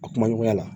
A kumaɲɔgɔnya la